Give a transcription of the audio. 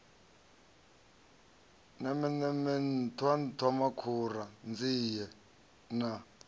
nemeneme nṱhwa nṱhwamakhura nzie na